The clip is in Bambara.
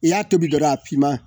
I y'a tobi dɔrɔn a finman